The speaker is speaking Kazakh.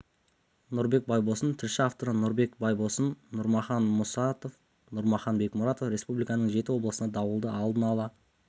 нұрбек байбосын тілші авторлары нұрбек байбосын нұрмахан мұсатов нұрмахан бекмұратов республиканың жеті облысына дауылды алдын ала